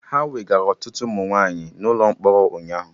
Ha wegara ọtụtụ ụmụ nwaanyị na ụlọ mkpọrọ ụnyaahụ